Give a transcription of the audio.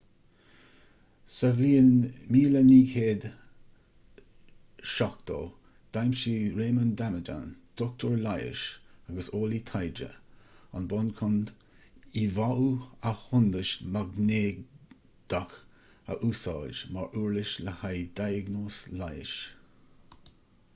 sa bhliain 1970 d'aimsigh raymond damadian dochtúir leighis agus eolaí taighde an bonn chun íomháú athshondais mhaighnéadach a úsáid mar uirlis le haghaidh diagnóis leighis